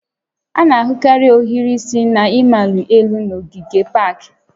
A na-ahụkarị ohiri isi na-amali elu n'ogige pak